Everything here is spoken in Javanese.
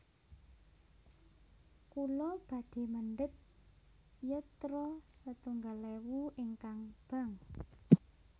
Kula badhe mendhet yatra setunggal ewu ingkang bank